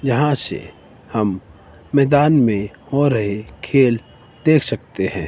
यहां से हम मैदान में हो रहे खेल देख सकते हैं।